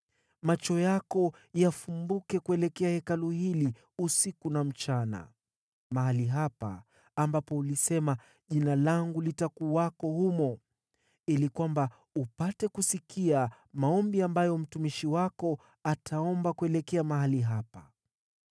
Macho yako na yafumbuke kuelekea Hekalu hili usiku na mchana, mahali hapa ambapo ulisema, ‘Jina langu litakuwako humo,’ ili kwamba upate kusikia maombi ambayo mtumishi wako ataomba kuelekea mahali hapa.